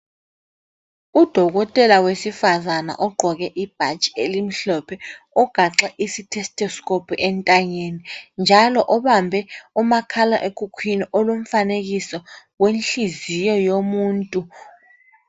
Udokotela wesifazana ogqoke ibhatshi elimhlophe ugaxe i stethoscope entanyeni njalo ubambe umakhala ekhukhwini olomfanekiso wenhliziyo yomuntu.